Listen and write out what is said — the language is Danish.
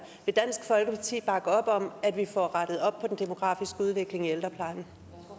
vil dansk folkeparti bakke op om at vi får rettet op på den demografiske udvikling i ældreplejen